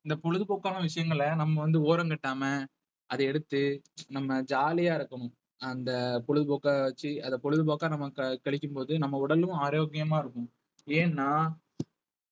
இந்த பொழுதுபோக்கான விஷயங்களை நம்ம வந்து ஓரங்கட்டாம அதை எடுத்து நம்ம jolly யா இருக்கணும் அந்த பொழுதுபோக்கை வச்சு அதை பொழுதுபோக்கா நம்ம கழிக்கும் போது நம்ம உடலும் ஆரோக்கியமா இருக்கும் ஏன்னா